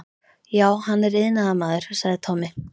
Já, hann er iðnaðarmaður, sagði Tommi.